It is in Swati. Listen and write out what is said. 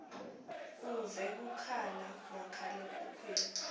uve kukhala makhalekhukhwini